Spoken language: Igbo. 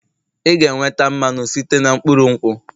Ị ga-enweta mmanụ site na mkpụrụ nkwụ